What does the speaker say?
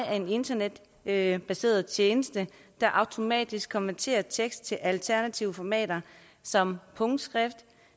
er en internetbaseret tjeneste der automatisk konverterer tekst til alternative formater som punktskrift